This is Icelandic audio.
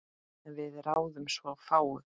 En við ráðum svo fáu.